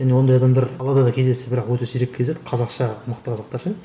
және ондай адамдар қалада да кездесті бірақ өте сирек кездеседі қазақша мықты қазақтар ше